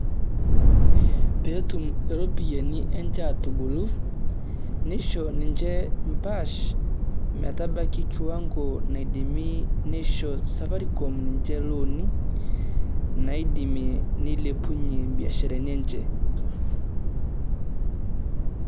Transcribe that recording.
Pee etum irropiyiani enche aatubulu nisho ninche empaash. Metabaiki kiwango naidimi nisho safaricom ninche ilooni naidimie nilepunyie ibiasharani enye.